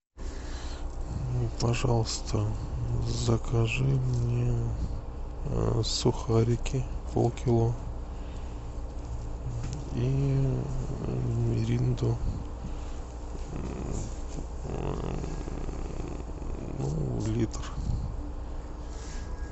пожалуйста закажи мне сухарики полкило и миринду ну литр